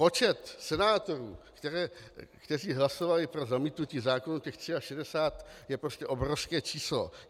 Počet senátorů, kteří hlasovali pro zamítnutí zákonů, těch 63, je prostě obrovské číslo.